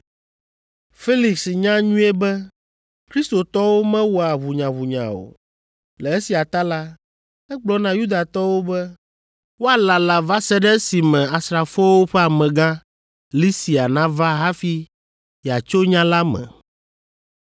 Felix nya nyuie be kristotɔwo mewɔa ʋunyaʋunya o. Le esia ta la, egblɔ na Yudatɔwo be woalala va se ɖe esime asrafowo ƒe amegã, Lisia nava hafi yeatso nya la me.